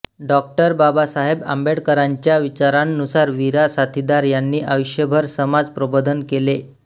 डॉ बाबासाहेब आंबेडकरांच्या विचारांनुसार वीरा साथीदार यांनी आयुष्यभर समाज प्रबोधन केले